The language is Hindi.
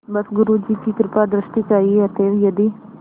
बस गुरु जी की कृपादृष्टि चाहिए अतएव यदि